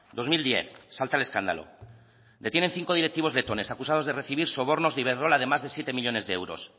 dos mil diez salta el escándalo detienen cinco directivos de acusados de recibir sobornos de iberdrola de más de siete millónes de euros